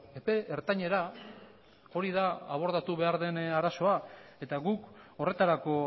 epe ertainera hori da abordatu behar den arazoa eta guk horretarako